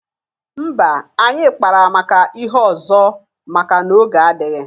Mba, anyị kpara maka ihe ọzọ maka na oge adịghị.